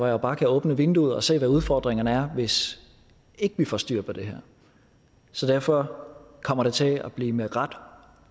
jo bare kan åbne vinduet og se hvad udfordringerne er hvis ikke vi får styr på det her så derfor kommer det til at blive med ret